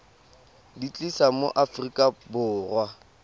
di tlisa mo aforika borwa